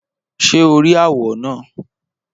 Ṣé o rí àwọ̀ náà?